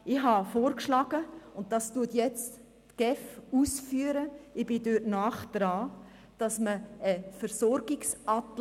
Ich habe vorgeschlagen, dass man einen Versorgungsatlas macht, und das führt die GEF jetzt aus;